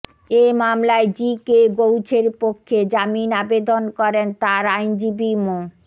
এ মামলায় G K গউছের পক্ষে জামিন আবেদন করেন তার আইনজীবী মো